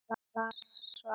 Las svo aftur.